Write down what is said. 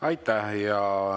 Aitäh!